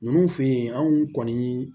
Ninnu fɛ yen anw kɔni